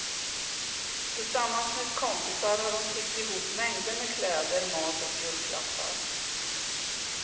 Tillsammans med kompisar har hon tiggt ihop mängder med kläder, mat och julklappar.